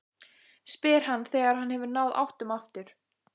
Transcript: spyr hann þegar hann hefur náð áttum aftur.